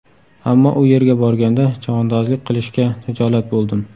Ammo u yerga borganda, chavandozlik qilishga hijolat bo‘ldim.